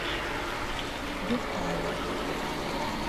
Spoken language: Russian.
юртаева